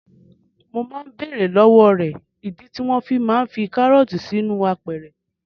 Mo máa ń bèèrè lọ́wọ́ rẹ̀ ìdí tí wọ́n fi máa ń fi karọọti sínú apẹ̀rẹ̀.